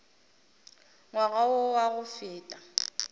ngwaga wo wa go feta